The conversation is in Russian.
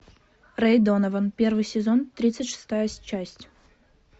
рэй донован первый сезон тридцать шестая часть